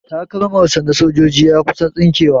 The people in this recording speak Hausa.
Takalmar sa na sojoji ya kusan tsinke wa